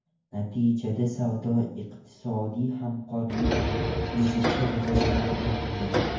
Natijada savdo-iqtisodiy hamkorlik izchil rivojlanmoqda.